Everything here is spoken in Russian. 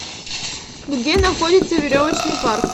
где находится веревочный парк